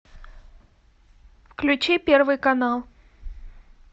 включи первый канал